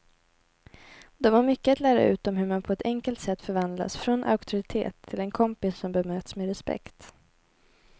De har mycket att lära ut om hur man på ett enkelt sätt förvandlas från auktoritet till en kompis som bemöts med respekt.